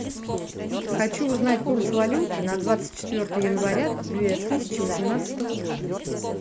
хочу узнать курс валюты на двадцать четвертое января две тысячи восемнадцатого года